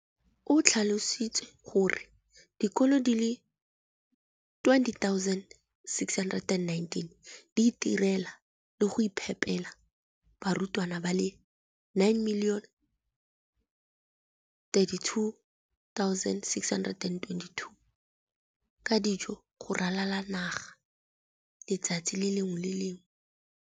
o tlhalositse gore dikolo di le 20 619 di itirela le go iphepela barutwana ba le 9 032 622 ka dijo go ralala naga letsatsi le lengwe le le lengwe.